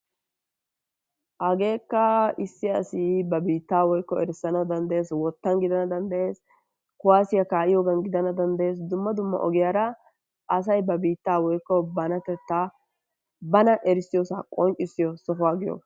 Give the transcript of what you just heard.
Hageekka issi asi ba biittaa woykko erissana danddayees wottaan giidana danddayees kuwaassiyaa ka'iyogan giidana danddayees dumma dumma ogiyaara asay ba biittaa woykko banatettaa bana erissiyoosaa qonccisiyoo soohuwaa giyoogaa.